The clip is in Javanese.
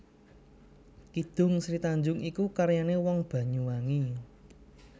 Kidung Sri Tanjung iku karyané wong Banyuwangi